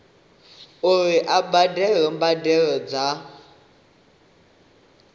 uri a badele mbadelo dza